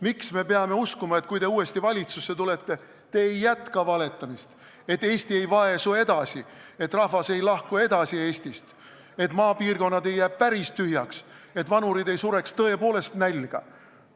Miks me peame uskuma, et kui te uuesti valitsusse tulete, siis te ei jätka valetamist, Eesti ei vaesu edasi, rahvas ei lahku Eestist, et maapiirkonnad ei jää päris tühjaks, vanurid ei sure tõepoolest nälga?